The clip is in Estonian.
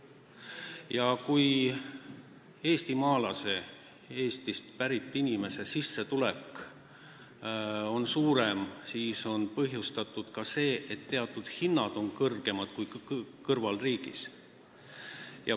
Ja kui eestimaalase, Eestis elava inimese sissetulek on suurem kui kõrvalriigis keskmiselt, siis on meil ka teatud hinnad kõrgemad kui kõrvalriigis.